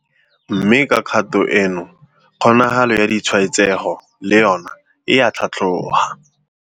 Mme ka kgato eno kgonagalo ya ditshwaetsego le yona e a tlhatlhoga.